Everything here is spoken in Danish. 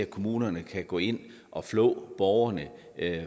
kommunerne kan gå ind og flå borgerne